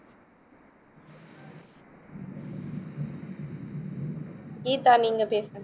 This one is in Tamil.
கீதா நீங்க பேசுங்க